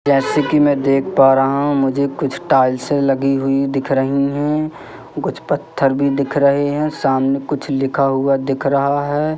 जैसे कि मैं देख पा रहा हूं मुझे कुछ टाइल्से लगी हुई दिख रही हैं कुछ पत्थर भी दिख रहे हैं सामने कुछ लिखा हुआ दिख रहा है।